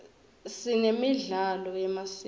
sinemidlalo yemasiko